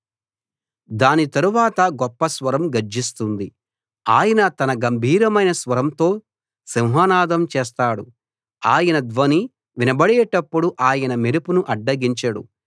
దాని తరువాత గొప్ప స్వరం గర్జిస్తుంది ఆయన తన గంభీరమైన స్వరంతో సింహనాదం చేస్తాడు ఆయన ధ్వని వినబడేటప్పుడు ఆయన మెరుపును అడ్డగించడు